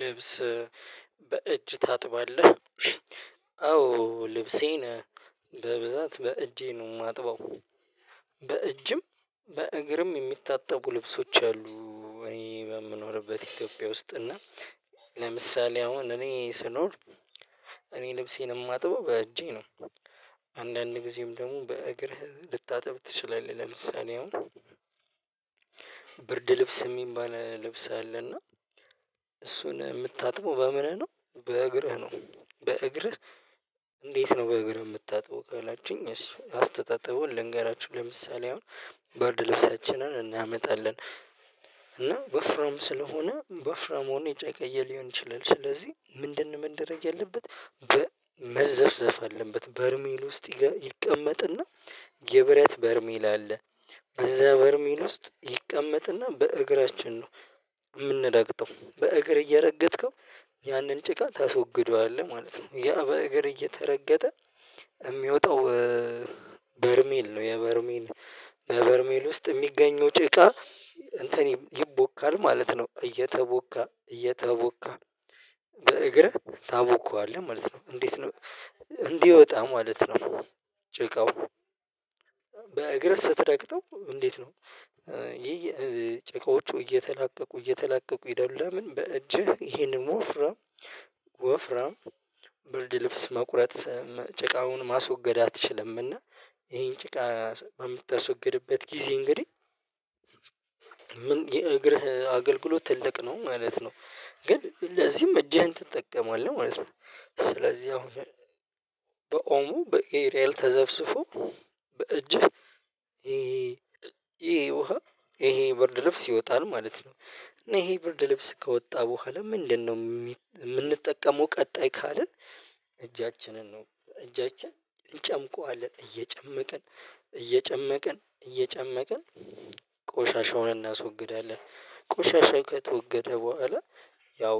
ልብስ በእጅ ታጥባለህ? አዎ ልብሴን በብዛት በእጄ ነው የማጥበው። በእጅም በእግርም የሚታጠቡ ልብሶች አሉ እኔ በምኖርበት ኢትዮጵያ ውስጥ እና። ለምሳሌ አሁን እኔ ስኖር እኔ ልብሴን የማጥበው በእጄ ነው። አንዳንድ ጊዜም ደግሞ በእግርህ ልታጠብ ትችላለህ ለምሳሌ አሁን ብርድ ልብስ የሚባል ልብስ አለና እሱን የምታጥበው በምንህ ነው? በእግርህ ነው በእግርህ። እንዴት ነው በእግር የምታጥበው ካላችሁኝ? እሺ አስተጣጥበውን ልንገራችሁ ለምሳሌ አሁን ብርድ ልብሳችንን እናመጣለን እና ወፍራም ስለሆነ ወፍራም ሆኖ ጨቀየ ሊሆን ይችላል ስለዚህ ምንድን ምንድን ነው መደረግ ያለበት? መዘፍዘፋ አለበት በርሜል ውስጥ ይቀመጥና የብረት በርሜል አለ በዛ በርሚል ውስጥ ይቀመጥና በእግራችን ነው። የምንረግጠው በእግር እየረገጥከው ያንን ጭቃ ተስወግዷል ማለት ነው። ያ በእግር እየተረገጠ የሚወጣው በርሜል ነው። የበርሜል በበርሜል ውስጥ የሚገኘው ጭቃ እንትን ይቦካል ማለት ነው። እየተቦካ እየተቦካ እግርህ ታቦካዋለህ ማለት ነው። እንዴት ነው? እንዲወጣ ማለት ነው። ጭቃው በእግር ስትረግጠው እንዴት ነው? ይሄ ጨቃዎቹ እየተላቀቁ እየተላቀቁ ይሄዳሉ ለምን በእጅህ ይሄንን ወፍራ። ወፍራ ብርድ ልብስ መቁረጥ ጭቃውን ማስወገድ አትችልም? እና ይሄን ጭቃ በምታስወግድበት ጊዜ እንግዲህ ምን የእግርህ አገልግሎት ትልቅ ነው ማለት ነው። ግን ለዚህም እጅህን ትጠቀማለህ ማለት ነው። ስለዚህ አሁን በኦሞ በኤሪኤል ተዘፍስፎ በእጅህ ይሄ ውሃ ይሄ ብርድ ልብስ ይወጣል ማለት ነው። እና ይሄ ብርድ ልብስ ከወጣ በኋላ ምንድነው? የምንጠቀመው ቀጣይ ካልን እጃችንን ነው እጃችን እንጨምቀዋለን እየጨመቅን እየጨመቅን እየጨመቅን ቆሻሻ ሆነን እናስወግዳለን ቆሻሻ ከተወገደ በኋላ ያው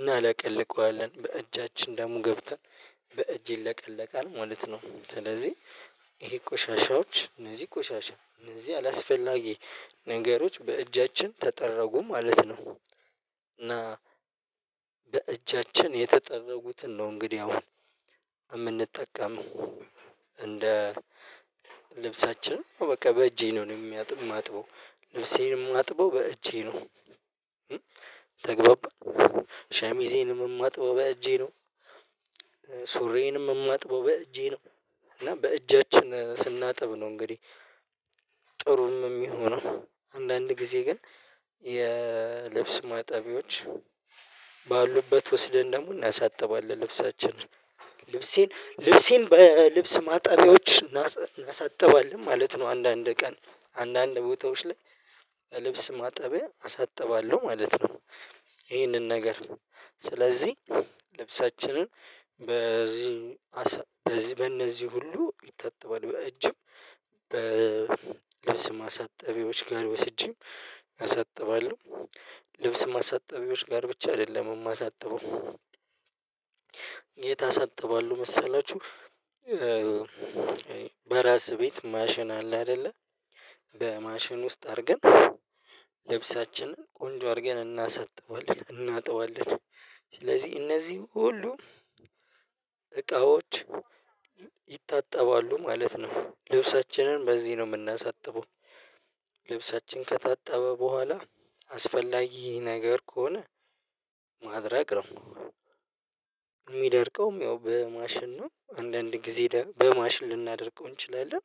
እናለቀልቀዋለን በእጃችን ደሞ ገብተን በእጄ ለቀለቃል ማለት ነው። ስለዚህ ይሄ ቆሻሻዎች እነዚህ ቆሻሻ እነዚህ አላስፈላጊ ነገሮች በእጃችን ተጠረጉ ማለት ነው። እና በእጃችን የተጠረጉትን ነው እንግዲህ አሁን የምንጠቀም እንደ ልብሳችን በቃ በእጄ ነው የሚያጥበው ነፍሴንም አጥበው በእጄ ነው። ተግባባ ሸሚዜንም የማጥበው በእጄ ነው። ሱሬንም የምማጥበው በእጄ ነው እና በእጃችን ስናጥብ ነው እንግዲህ። ጥሩም የሚሆነው አንዳንድ ጊዜ ግን የልብስ ማጣቢዎች ባሉበት ወስደን ደግሞ እናሳጥባለን ልብሳችንን ልብሴን ልብሴን በልብስ ማጣቢያዎች እናሳጥባለን ማለት ነው። አንዳንድ ቀን አንዳንድ ቦታዎች ላይ ልብስ ማጠቢያ አሳጥባለሁ ማለት ነው። ይሄንን ነገር ስለዚህ ልብሳችንን በዚህ በዚህ በእነዚህ ሁሉ ይጠጥባል በእጅም በልብስ ማሳጠቢዎች ጋር ወስጄም እሰጥባለሁ ልብስ ማሳጠቢዎች ጋር ብቻ አይደለም የማሳጥበው የት አሳጥባለሁ መሰላችሁ? በራስህ ቤት ማሽን አለ አይደለ በማሽን ውስጥ አድርገን ለብሳችንን ቆንጆ አድርገን እናሳጥበዋለን እናጥበዋለን። ስለዚህ እነዚህ ሁሉ እቃዎች ይታጠባሉ ማለት ነው። ልብሳችንን በዚህ ነው የምናሳጥበው። ልብሳችን ከታጣበ በኋላ አስፈላጊ ነገር ከሆነ ማድረቅ ነው። የሚደርቀውም ያው በማሽን ነው አንዳንድ ጊዜ በማሽን ልናደርገው እንችላለን።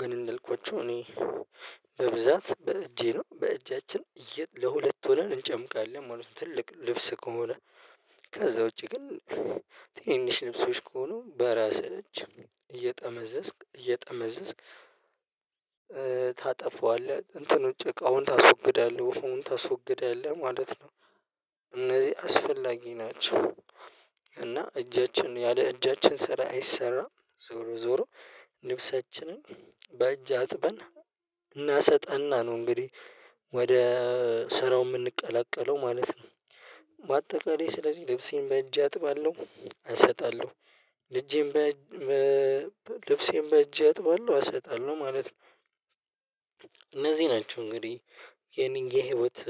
ግን እንደልኮቹ እኔ በብዛት በእጄ ነው በእጃችን ለሁለት ሆነን እንጨምቃለን ማለት ትልቅ ልብስ ከሆነ ከዛ ውጪ ግን ትንሽ ልብሶች ከሆኑ በራስህ እጅ እየጠመዘዝክ እየጠመዘዝክ ታጠፋዋለህ እንትን ውጪ አሁን ታስወግዳለህ አሁን ታስወግዳለህ ማለት ነው። እነዚህ አስፈላጊ ናቸው። እና እጃችን ያለ እጃችን ስራ አይሰራም ዞሮ ዞሮ ልብሰችንን በእጅ አጥበን እናሰጠና ነው። እንግዲህ ወደ ስራው የምንቀላቀለው ማለት ነው። በአጠቃላይ ስለዚህ ልብሴን በእጄ አጥባለሁ እሰጣለሁ በልብሴን በእጄ አጥባለሁ እሰጣለሁ ማለት ነው። እነዚህ ናቸው እንግዲህ የኔን የህይወት